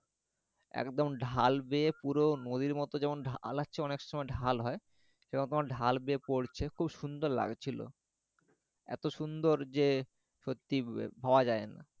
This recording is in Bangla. একদম ঢাল বেয়ে পুরো নদীর মত যেমন ঢাল আছে অনেক সময় ঢাল হয় সেরকম ঢাল বেয়ে পরছে খুব সুন্দর লাগছিল এত সুন্দর যে সত্যি ভাবা যায়না